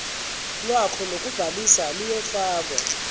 lwakho lokubhalisa luyofakwa